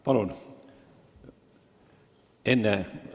Palun!